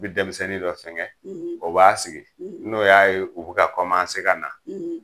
I bi denmisɛnnin dɔ fɛngɛ o b'a sigi n'o y'a ye u bi ka kɔmanse ka na